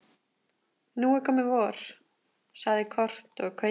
Nú er komið vor, sagði Kort og kaupför í höfnum.